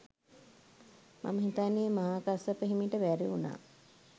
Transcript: මම හිතන්නෙ මහා කස්සප හිමිට බැරිවුනා